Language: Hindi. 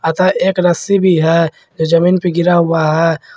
अतः एक रस्सी भी है जो जमीन पे गिरा हुआ है।